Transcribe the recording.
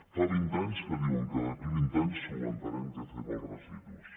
fa vint anys que diuen que d’aquí a vint anys solucionarem què fer amb els residus